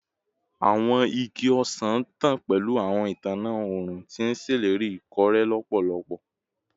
Awọn igi ọsan ntan pẹlu awọn itanna õrùn, ti n ṣeleri ikore lọpọlọpọ